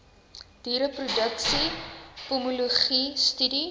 diereproduksie pomologie studie